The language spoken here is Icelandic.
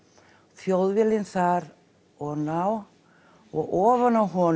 Þjóðviljinn þar ofan á og ofan á honum